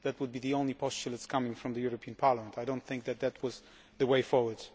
That would be the only posture coming from the European Parliament. I do not think that that is the way forward.